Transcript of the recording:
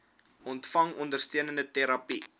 ontvang ondersteunende terapie